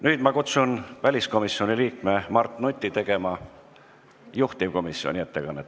Nüüd ma kutsun väliskomisjoni liikme Mart Nuti tegema juhtivkomisjoni ettekannet.